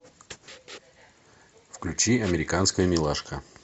включи американская милашка